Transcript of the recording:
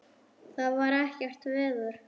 Það er ekkert veður.